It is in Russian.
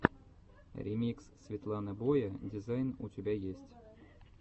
ремикс светланы боя дизайн у тебя есть